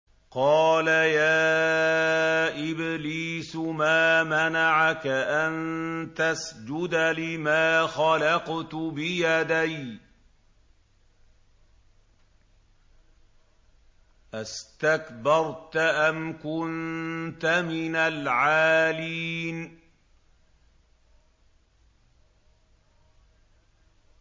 قَالَ يَا إِبْلِيسُ مَا مَنَعَكَ أَن تَسْجُدَ لِمَا خَلَقْتُ بِيَدَيَّ ۖ أَسْتَكْبَرْتَ أَمْ كُنتَ مِنَ الْعَالِينَ